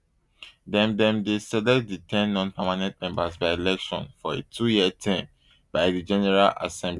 dem dem dey select di ten nonpermanent members by election for a twoyear term by di general assembly